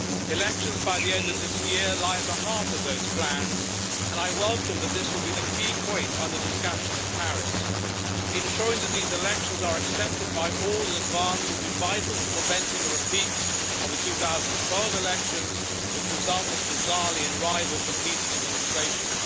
Elections by the end of this year lie at the heart of those plans, and I welcome that this will be the key point under discussion in Paris. Ensuring that these elections are accepted by all in advance will be vital to preventing a repeat of the 2012 elections, which resulted bizarrely in rival competing administrations.